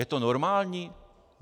Je to normální?